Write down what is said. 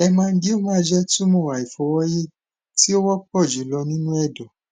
hemangioma jẹ tumọ aifọwọyi ti o wọpọ julọ ninu ẹdọ